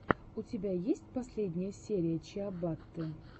у тебя есть последняя серия чиабатты